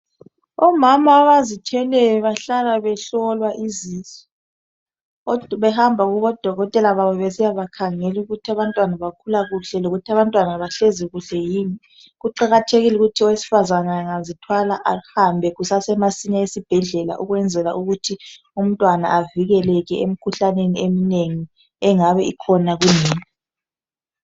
Omama abazithweleyo bahlala behlolwa izisu behamba kubo Dokotela babo besiyabakhangela ukuthi abantwana bakhula kuhle lokuthi abantwana bahlezi kuhle yini, kuqakathekile ukuthi owesifazane engazithwala ahambe kusase masinya eSibhedlela okwenzela ukuthi umntwana avikeleke emkhuhlaneni eminengi engabe ikhona